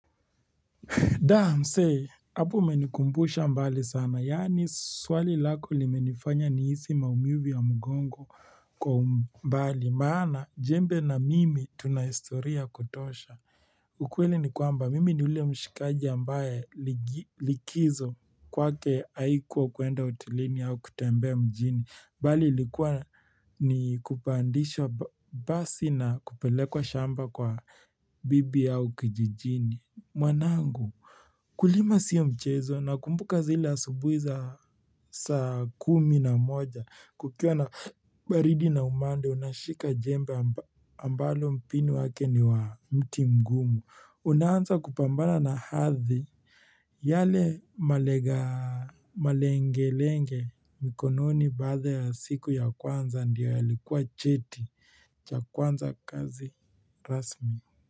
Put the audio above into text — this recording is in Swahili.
Da, msee hapo umenikumbusha mbali sana, yaani swali lako limenifanya nihisi maumivu ya mugongo kwa umbali, maana jembe na mimi tunahistoria kutosha. Ukweli ni kwamba, mimi ni ule mshikaji ambaye likizo kwake haikuwa kwenda hotelini au kutembea mjini, mbali ilikuwa ni kupandishwa basi na kupelekwa shamba kwa bibi au kijijini. Mwanangu, Kulima sio mchezo nakumbuka zile asubuhi za saa kumi na moja, kukiwa na baridi na umande, unashika jembe ambalo mpini wake ni wa mti mgumu. Unaanza kupambana na ardhi yale malenga malenge lenge mikononi baada ya siku ya kwanza ndio yalikuwa cheti cha kuanza kazi rasmi.